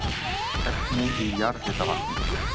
Efni í jarðhitavatni